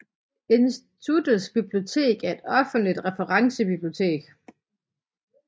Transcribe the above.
Instituttets bibliotek er et offentligt referencebibliotek